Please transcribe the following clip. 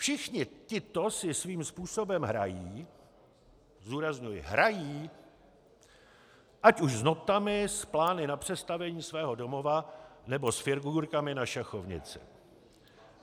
Všichni tito si svým způsobem hrají, zdůrazňuji hrají, ať už s notami, s plány na přestavění svého domova nebo s figurkami na šachovnici.